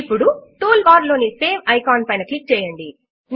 ఇప్పుడు toolbar లోని save icon పైన క్లిక్ చేయండి